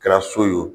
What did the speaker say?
Kɛra so ye wo